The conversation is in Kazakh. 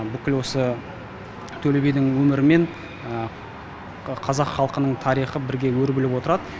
бүкіл осы төле бидің өмірі мен қазақ халқының тарихы бірге өрбіліп отырады